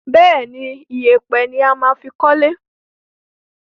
Bẹ́ẹ̀ni, ìyẹ̀pẹ̀ ni a máa fi kọ́le.